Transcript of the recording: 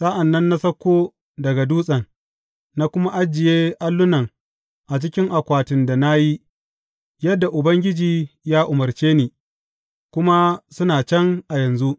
Sa’an nan na sauko daga dutsen, na kuma ajiye allunan a cikin akwatin da na yi, yadda Ubangiji ya umarce ni, kuma suna can a yanzu.